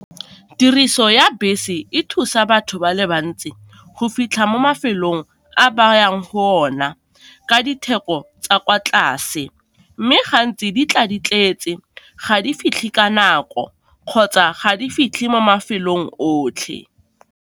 Tiriso ya bese e thusa batho ba le bantsi go fitlha mo mafelong a ba yang go ona ka ditheko tsa kwa tlase, mme gantsi di tla di tletse, ga di fitlhe ka nako kgotsa ga di fitlhe mo mafelong otlhe.